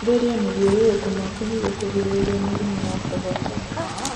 Therĩa mathiururuko maku nĩguo kũgirĩrĩrĩa mĩrimũ ya kugwatania